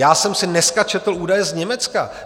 Já jsem si dneska četl údaje z Německa.